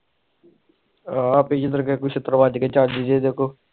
ਆਹ ਕੋ ਸ਼ਿੱਤਰ ਵਾਜ ਗਏ ਚੱਜ ਦੇ ਚੀਜ ਸਿਖੁ